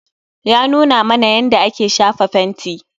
Yanuna mana yanda ake shafa fenti